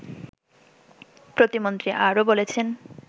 প্রতিমন্ত্রী আরও বলেছেন